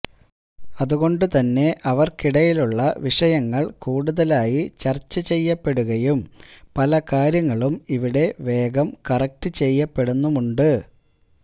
അതുകൊണ്ടുതന്നെ അവര്ക്കിടയിലുള്ള വിഷയങ്ങള് കൂടുതലായി ചര്ച്ച ചെയ്യപ്പെടുകയും പല കാര്യങ്ങളും ഇവിടെ വേഗം കറക്ട് ചെയ്യപ്പെടുന്നുമുണ്ട്